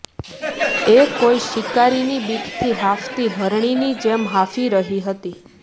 એ કોઈ શિકારી ની બીકથી હાંફતી હરણીની જેમ હાંફી રહી હતી